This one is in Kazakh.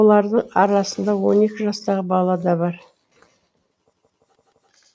олардың арасында он екі жастағы бала да бар